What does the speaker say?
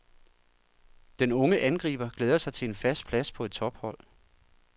Den unge angriber glæder sig til en fast plads på et tophold.